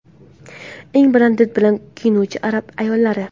Eng baland did bilan kiyinuvchi arab ayollari .